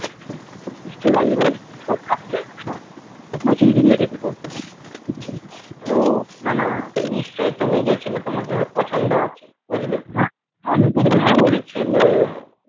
নিশ্চয়ই রাজি হয়েছি তাইনা তুই যদি হতি কি কর্তি তো হে আমি বলিনি